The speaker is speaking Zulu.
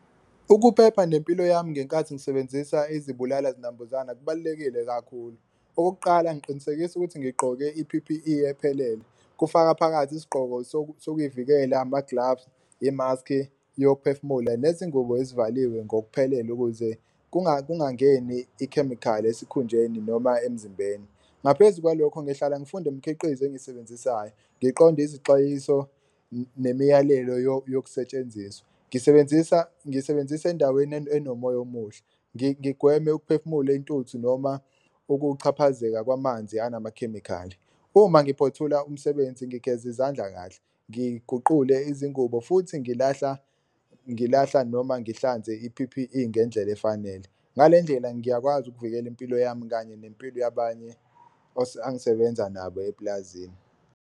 Ukuphepha nempilo yami ngenkathi ngisebenzisa izibulala-zinambuzana kubalulekile kakhulu. Okokuqala, ngiqinisekisa ukuthi ngigqoke i-P_P_E ephelele, kufaka phakathi isigqoko sokuy'vikela ama-gloves, imaskhi yokuphefumula nezingubo ezivaliwe ngokuphelele ukuze kungangeni ikhemikhali esikhunjeni noma emzimbeni. Ngaphezu kwalokho ngihlala ngifunda imkhiqizo engisebenzisayo, ngiqonde izixwayiso nemiyalelo yokusetshenziswa, ngisebenzisa ngisebenzisa endaweni enomoya omuhle, ngigweme ukuphefumula intuthu noma ukuchaphazeka kwamanzi anamakhemikhali. Uma ngiphothula umsebenzi ngigeza izandla kahle ngiguqule izingubo futhi ngilahla ngilahla noma ngihlanze i-P_P_E ngendlela efanele, ngale ndlela ngiyakwazi ukuvikela impilo yami kanye nempilo yabanye angisebenza nabo epulazini.